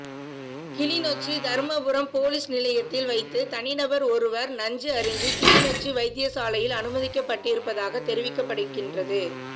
Kilinochchi Dharmapuram police நிலையத்தில் வைத்து தனிநபர் ஒருவர் நஞ்சு அருந்தி கிளிநொச்சி வைத்தியசாலையில் அனுமதிக்கப்பட்டிருப்பதாக தெரிவிக்கப்படுகின்றது